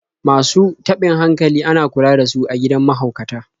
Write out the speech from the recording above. Masu taɓin hankali ana kula da su a gidan mahaukata.